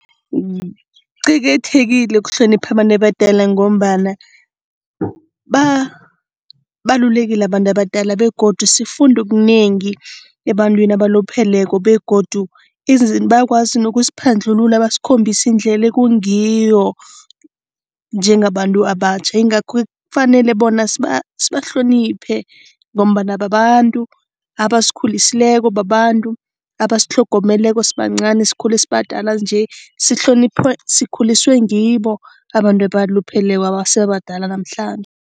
Kuqakathekile ukuhlonipha abantu abadala ngombana babalulekile abantu abadala begodu sifunda okunengi ebantwini abalupheleko begodu bayakwazi nokusiphandlulula, basikhombise indlela ekungiyo njengabantu abatjha. Ingakho kufanele bona sibahloniphe ngombana babantu abasikhulisileko, babantu abasitlhogomeleko sibancani. Sikhule sabadala nje, sikhuliswe ngibo abantu abalupheleko abase babadala namhlanje.